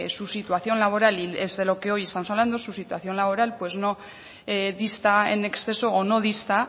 su situación laboral es de lo que hoy estamos hablando pues su situación laboral no dista en exceso o no dista